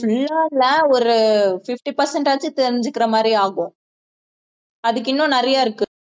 full ஆ இல்ல ஒரு fifty percent ஆச்சும் தெரிஞ்சுக்கிற மாதிரி ஆகும் அதுக்கு இன்னும் நிறைய இருக்கு